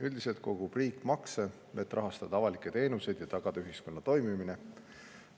Üldiselt kogub riik makse, et rahastada avalikke teenuseid ja tagada ühiskonna toimimine.